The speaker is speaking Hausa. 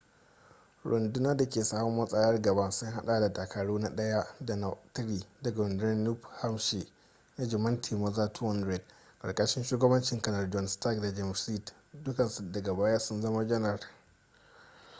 runduna dake sahun matsayar gaba sun hada da dakaru na 1 da na 3 daga rundunar new hampshire rajimantin maza 200 karkashin shugabancin kanar john stark da james reed dukkansu daga baya sun zama janar